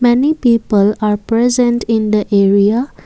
many people are present in the area.